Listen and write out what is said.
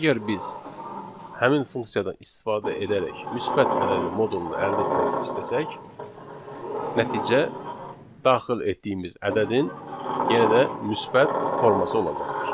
Əgər biz həmin funksiyadan istifadə edərək müsbət ədədin modulunu əldə etmək istəsək, nəticə daxil etdiyimiz ədədin yenə də müsbət forması olacaqdır.